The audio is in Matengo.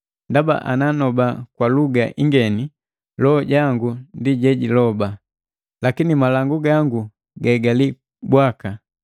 Ndaba ananoba kwa luga ingeni loho jangu ndi jejiloba, lakini malangu gangu gaigali bwaka.